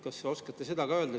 Kas oskate seda öelda?